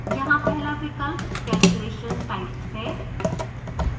यहाँ पहला विकल्प calculation type है